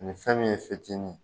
Nin fɛn min ye fitinin